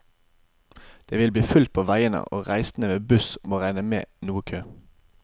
Det vil bli fullt på veiene, og reisende med buss må regne med noe kø.